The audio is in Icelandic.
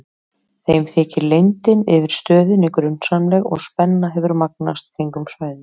Þeim þykir leyndin yfir stöðinni grunsamleg og spenna hefur magnast kringum svæðið.